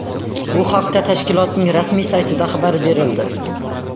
Bu haqda tashkilotning rasmiy saytida xabar berildi .